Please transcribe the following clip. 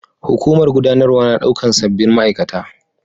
Hukumar gudanarwa na daukar sabbin ma'aikata